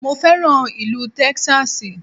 Mo fẹ́ràn ìlú Texas